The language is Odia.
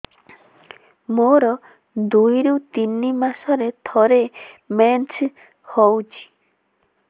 ମୋର ଦୁଇରୁ ତିନି ମାସରେ ଥରେ ମେନ୍ସ ହଉଚି